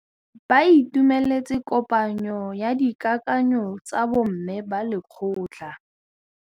Ba itumeletse kôpanyo ya dikakanyô tsa bo mme ba lekgotla.